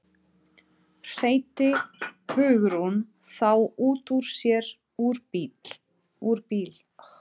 hreytti Hugrún þá út úr sér úr bíl